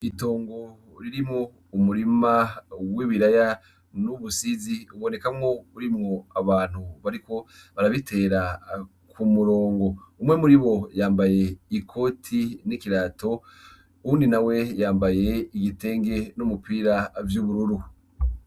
Itungo ririmwo umurima w'ibiraya n'ubusizi, ubonekamwo urimwo abantu bariko barabitera k'umurongo. Umwe muribo yambaye ikoti n'ikirato, uwundi nawe yambaye igitenge n'umupira vy'ubururu.